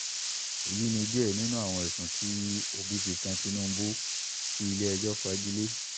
èyí ni díẹ̀ nínú àwọn ẹ̀sùn tí òbí fi kan tinubu tí ilé-ẹjọ́ fagi lé